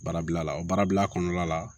Baarabila la o baarabila kɔnɔna la